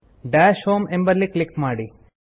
dash home ಎಂಬಲ್ಲಿ click ಮಾಡಿ